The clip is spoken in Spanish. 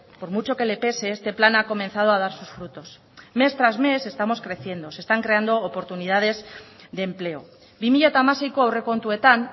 por mucho que le pese este plan ha comenzado a dar sus frutos mes tras mes estamos creciendo se están creando oportunidades de empleo bi mila hamaseiko aurrekontuetan